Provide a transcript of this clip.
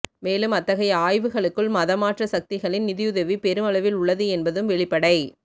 மேலும் அத்தகைய ஆய்வுகளுக்குள் மதமாற்ற சக்திகளின் நிதியுதவி பெருமளவில் உள்ளது என்பதும் வெளிப்படை